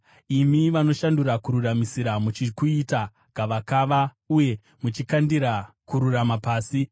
Imi vanoshandura kururamisira muchikuita gavakava uye muchikandira kururama pasi